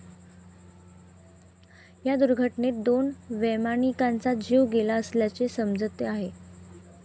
या दुर्घटनेत दोन वैमानिकांचा जीव गेला असल्याचे समजते आहे.